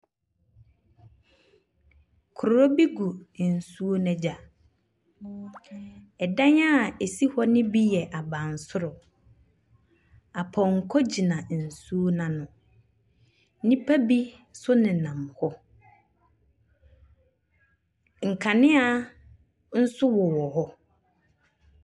Kuro bi gu nsuo n'egya. Ɛdan a esi hɔ ne bi yɛ abansoro. Apɔnkɔ gyina nsuo no ano. Nipa bi so nenam hɔ. Nkanea nso wowɔ hɔ.